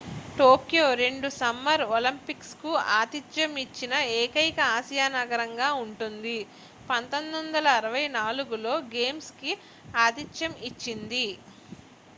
Tokyo రెండు summer Olympics కు ఆతిధ్యం ఇచ్చిన ఏకైక ఆసియా నగరంగా ఉంటుంది 1964లో గేమ్స్ కి ఆతిథ్యం ఇచ్చింది